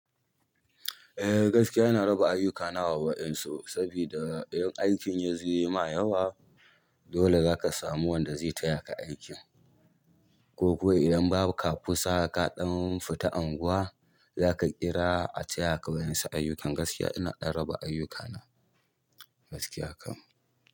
Eh gaskiya ina raba ayyukana wa waɗansu saboda idan aikin yazo yayi ma yawa dole zaka samu wanda zai tayaka aikin ko kuwa idan babu ka kusa kaɗan fita anguwa zaka kira a tayaka waƴansu ayyukan. Gaskiya ina ɗan raba ayukana gaskiya kam.